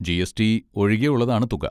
GST. ഒഴികെയുള്ളതാണ് തുക.